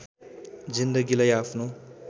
जिन्दगीलाई आफ्नो